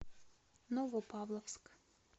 новопавловск